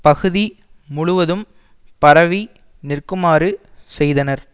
பகுதி முழுவதும் பரவி நிற்குமாறு செய்தனர்